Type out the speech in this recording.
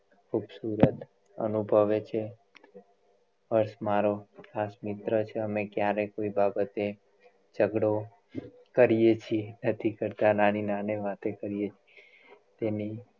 ખૂબસૂરત અનુભવે છે હર્ષ મારો ખાસ મિત્ર છે અમે ક્યારેય કોઈ બાબતે જગડો કરીએ છે નથી કરતાં નાની નાની વાતે કરીએ છીએ તેની